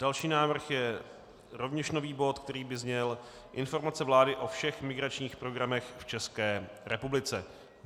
Další návrh je rovněž nový bod, který by zněl Informace vlády o všech migračních programech v České republice.